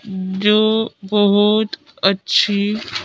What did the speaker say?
जो बहुत अच्छी--